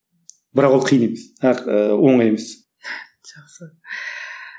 бірақ ол қиын емес оңай емес жақсы